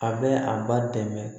A bɛ a ba dɛmɛ